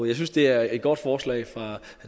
jeg synes det er et godt forslag fra herre